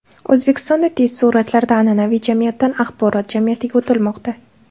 O‘zbekistonda tez sur’atlarda an’anaviy jamiyatdan axborot jamiyatiga o‘tilmoqda.